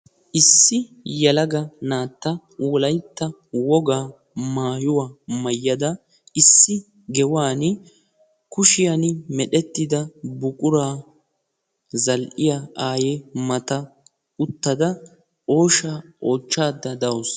issi yalaga naatta wulaytta wogaa maayuwaa mayyada issi gewan kushiyan medhettida buquraa zal'iya aaye mata uttada ooshaa oochchaada da'uusu